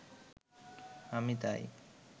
আমি তাই